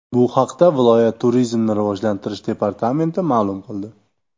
Bu haqda viloyat turizmni rivojlantirish departamenti ma’lum qildi .